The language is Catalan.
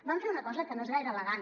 van fer una cosa que no és gaire elegant